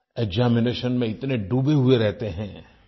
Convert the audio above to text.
examination में इतने डूबे हुए रहते हैं